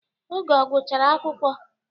Oge o gụchara akwụkwọ.